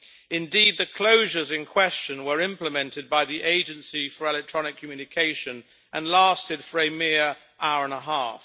Indeed the closures in question were implemented by the Agency for Electronic Communication and lasted for a mere hour and a half.